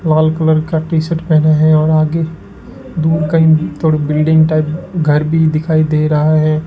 लाल colour का T shirt पहना है और आगे दूर कहीं थोड़ी बिल्डिंग टाइप घर भी दिखाई दे रहा है।